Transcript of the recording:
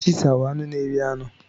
Chiita wụ anụ n'eri anụ.